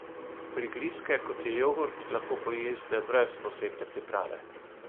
Prigrizke, kot je jogurt, lahko pojeste brez posebne priprave.